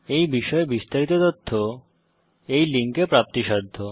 এই বিষয়ে বিস্তারিত তথ্য এই লিঙ্কে প্রাপ্তিসাধ্য